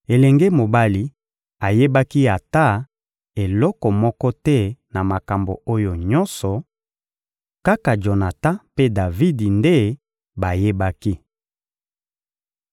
Elenge mobali ayebaki ata eloko moko te na makambo oyo nyonso; kaka Jonatan mpe Davidi nde bayebaki.